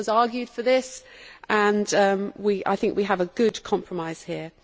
A lot of us argued for this and I think we have a good compromise here.